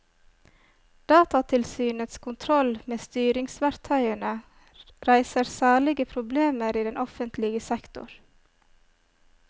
Datatilsynets kontroll med styringsverktøyene reiser særlige problemer i den offentlige sektor.